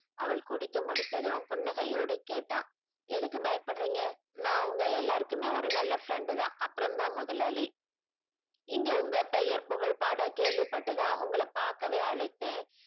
அவள் குடித்து முடித்ததும் புன்னகையோடு கேட்டான் எதுக்கு பயப்படுறீங்க நான் உங்க எல்லாருக்குமே ஒரு நல்ல friend தான் அப்புறம்தான் முதலாளி இங்க உங்க பெயர் புகழ் பாட கேள்வி பட்டு தான் உங்கள பார்க்கவே அழைத்தேன்